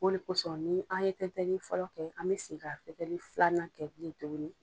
O le kosɔn ni an ye tɛntɛli fɔlɔ kɛ an bɛ segin ka tɛntɛli filanan kɛ bilen tuguni.